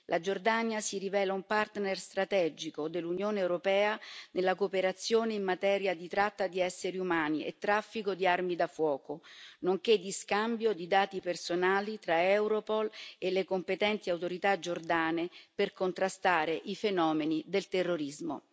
La Giordania si rivela un partner strategico dell'Unione europea nella cooperazione in materia di tratta di esseri umani e traffico di armi da fuoco, nonché di scambio di dati personali tra Europol e le competenti autorità giordane per contrastare i fenomeni del terrorismo.